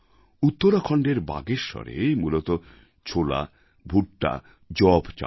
উত্তরাখণ্ডের বাগেশ্বরে মূলতঃ ছোলা ভুট্টা যব চাষ হয়